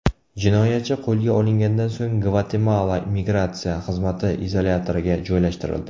Jinoyatchi qo‘lga olingandan so‘ng Gvatemala migratsiya xizmati izolyatoriga joylashtirildi.